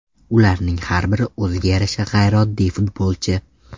Ularning har biri o‘ziga yarasha g‘ayrioddiy futbolchi.